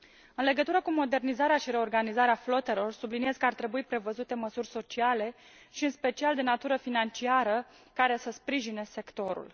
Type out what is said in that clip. În legătură cu modernizarea și reorganizarea flotelor, subliniez că ar trebui prevăzute măsuri sociale și în special de natură financiară, care să sprijine sectorul.